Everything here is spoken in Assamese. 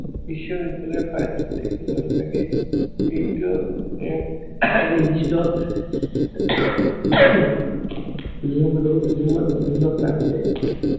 বিশ্ববিদ্য়ালয়ত পায়। এইটো এক নিৰ্দিষ্ট নিয়ম আৰু নিয়মৰ অধীনত আছে